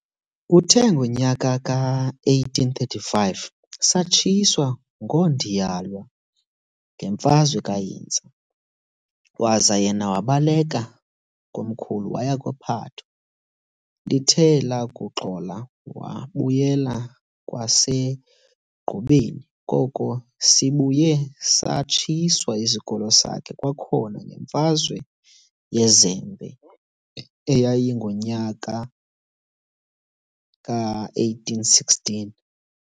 Kuthe ngonyaka ka-1835, satshiswa ngoondiyalwa ngenfazwe kaHintsa, waza yena wabaleka komkhulu waya kwa-Phatho. Lithe lakuxola wabuyela kwaseGqubeni, koko sibuye satshiswa isikolo sakhe kwakhona ngemfazwe yeZembe eyayingonyaka ka1816.